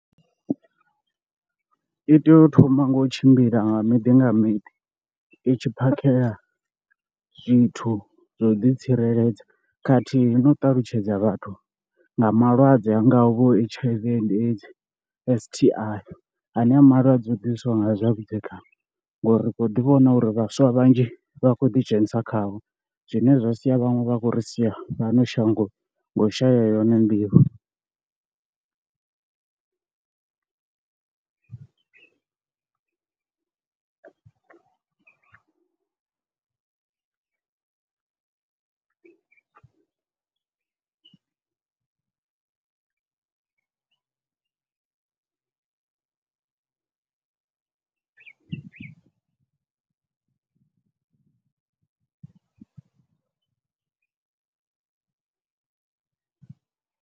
I tea u thoma nga u tshimbila nga miḓi nga miḓi i tshi phakhela zwithu zwa u ḓitsireledza khathihi no u ṱalutshedza vhathu nga malwadze a ngaho H_I_V and AIDS, S_T_I ane a malwadze a ḓisiwa nga zwavhudzekani ngori ri kho ḓi vhona uri vhaswa vhanzhi vha khou ḓidzhenisa khao zwine zwa sia vhaṅwe vha khou ri sia fhano shangoni nga u shaya yone nḓivho.